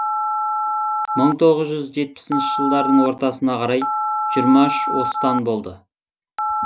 мың тоғыз жүз жетпісінші жылдардың ортасына қарай жиырма үш остан болды